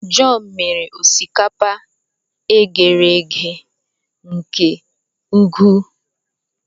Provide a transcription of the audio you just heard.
John mere osikapa e ghere eghe nke ukwuu